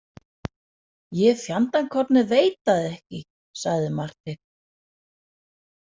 Ég fjandakornið veit það ekki, sagði Marteinn.